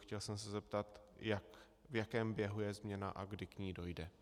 Chtěl jsem se zeptat, v jakém běhu je změna a kdy k ní dojde.